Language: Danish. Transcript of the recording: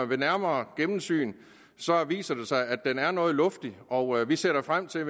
ved nærmere gennemsyn viser det sig at den er noget luftig og vi ser da frem til